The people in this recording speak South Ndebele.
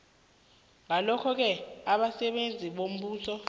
ngalokhoke abasebenzi bombuso